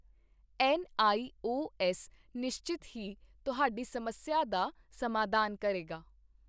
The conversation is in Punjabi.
ਐੱਨ ਆਈ ਓ ਐੱਸ ਨਿਸ਼ਚਤ ਹੀ ਤੁਹਾਡੀ ਸਮੱਸਿਆ ਦਾ ਸਮਾਧਾਨ ਕਰੇਗਾ।